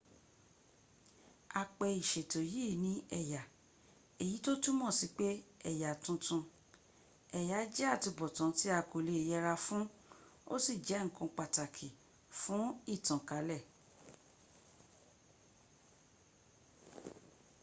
a pè ìṣètò yìí ní ẹ̀yà èyí tó túms sí pé ẹ̀yà tuntun. ẹ̀yà jẹ́ àtubọ̀tán tí a kò lè yẹra fún ó sì jẹ́ ǹkan pàtàkì fún ìtànkálẹ̀